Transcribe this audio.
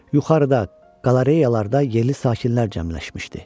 Yuxarıda, qalareyallarda yeli sakinlər cəmləşmişdi.